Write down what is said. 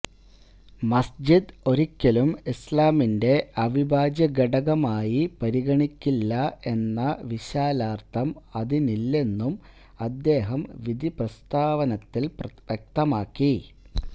മസ്്ജിദ് ഒരിക്കലും ഇസ്്ലാമിന്റെ അവിഭാജ്യ ഘടകമായി പരിഗണിക്കില്ല എന്ന വിശാലാര്ഥം അതിനില്ലെന്നും അദ്ദേഹം വിധി പ്രസ്താവത്തില് വ്യക്തമാക്കി